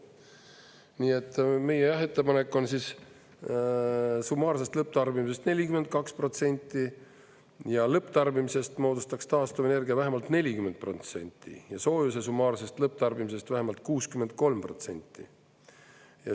Nii et meie ettepanek on summaarsest lõpptarbimisest 42%, lõpptarbimisest moodustaks taastuvenergia vähemalt 40% ja soojuse summaarsest lõpptarbimisest vähemalt 63%.